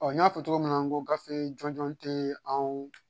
Ɔ n y'a fɔ cogo min na ko gafe jɔnjɛn tɛ anw